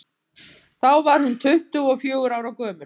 Þá var hún tuttugu og fjögurra ára gömul.